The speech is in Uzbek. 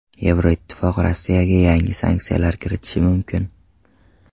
Yevroittifoq Rossiyaga yangi sanksiyalar kiritishi mumkin.